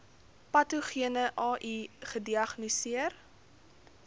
patogene ai gediagnoseer